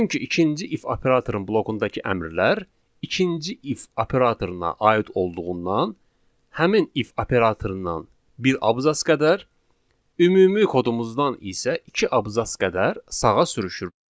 Çünki ikinci if operatorun blokundakı əmrlər ikinci if operatoruna aid olduğundan həmin if operatorundan bir abzas qədər ümumi kodumuzdan isə iki abzas qədər sağa sürüşür.